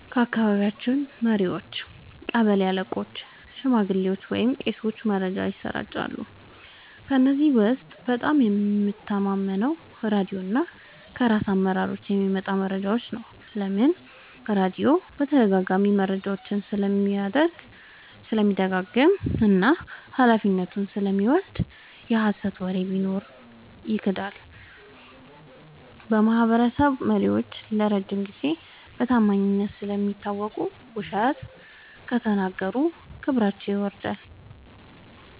ከአካባቢ መሪዎች – ቀበሌ አለቆች፣ ሽማግሌዎች ወይም ቄሶች መረጃን ያሰራጫሉ። ከእነዚህ ውስጥ በጣም የምተማመነው ራድዮ እና ከራስ አመራሮች የሚመጣ መረጃ ነው። ለምን? · ራድዮ በተደጋጋሚ መረጃውን ስለሚደግም እና ኃላፊነቱን ስለሚወስድ። የሀሰት ወሬ ቢኖር ይክዳል። · የማህበረሰብ መሪዎች ለረጅም ጊዜ በታማኝነት ስለሚታወቁ፣ ውሸት ከተናገሩ ክብራቸው ይጎዳል።